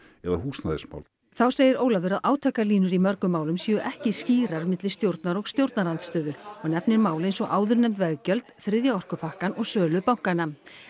eða húsnæðismál þá segir Ólafur að átakalínur í mörgum málum séu ekki skýrar milli stjórnar og stjórnarandstöðu og nefnir mál eins og áðurnefnd veggjöld þriðja orkupakkann og sölu bankanna